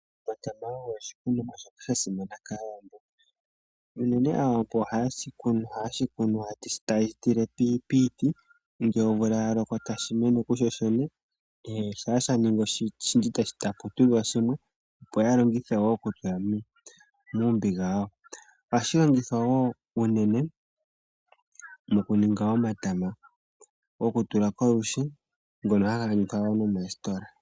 Omatama ogo oshikunuwa shoka sha simana kaawambo. Unene ohaye shi kunu taye shi tile piiti, ngele omvula ya loko tashi mene kushoshene nenge shampa sha ningi oshindji tapu tudhwa shimwe, opo ya longithe wo oku toya mombiga yayo. Ohashi longithwa wo unene moku ninga omatama goku tula kolwiishi ngono haga adhika wo nomoositola.